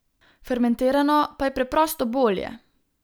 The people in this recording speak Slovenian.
Fermentirano pa je preprosto bolje.